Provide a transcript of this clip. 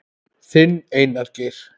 Þinn, Einar Geir.